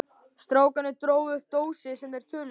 Strákarnir drógu upp dósir sem þeir töluðu í.